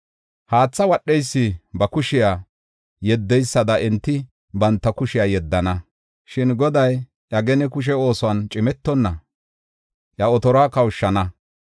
Haathe wadheysi ba kushiya yeddeysada enti banta kushiya yeddana. Shin Goday iya gene kushe oosuwan cimetonna, iya otoruwa kawushana.